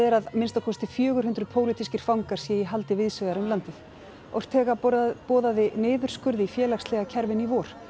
að minnsta kosti fjögur hundruð pólitískir fangar séu í haldi víðs vegar um landið boðaði niðurskurð í félagslega kerfinu í vor